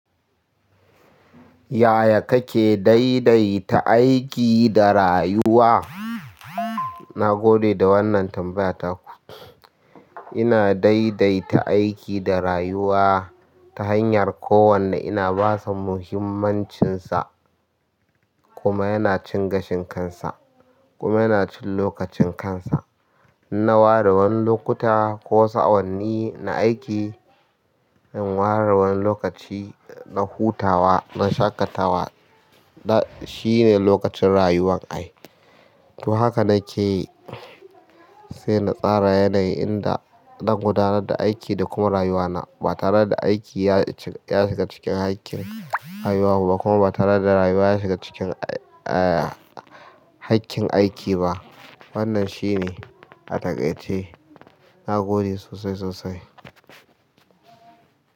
Yaya kake daidaita aiki da rayuwa? Na gode da wannan tambaya taku. Ina daidaita aiki da rayuwa ta hanyar kowanne ina basa muhimmancinsa kuma yana cin gashin kansa kuma yana cin lokacin kansa. Na ware wani lokuta ko sa'o'anni na aiki, in ware wani lokaci na hutawa, na shaƙatawa. Na, shine lokacin rayuwan ai. To haka nake yi, sai na tsara yanayi inda zan gudanar da aiki da kuma rayuwana ba tare da aiki ya shiga cikin haƙƙin rayuwarmu ba kuma ba tare da rayuwa ya shiga cikin, eh, haƙƙin aiki ba. Wannan shine a taƙaice na gode sosai, sosai.